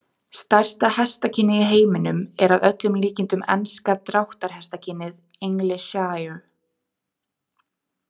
Stærsta hestakynið í heiminum er að öllum líkindum enska dráttarhestakynið, english shire.